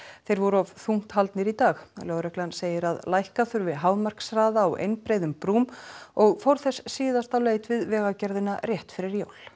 þeir voru of þungt haldnir í dag lögreglan segir að lækka þurfi hámarkshraða á einbreiðum brúm og fór þess síðast á leit við Vegagerðina rétt fyrir jól